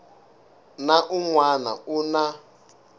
na un wana u na